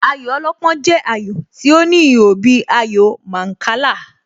Ayò alọ́pọ́n jẹ́ ayò tí ó ní ihò bíi ayò Mancala.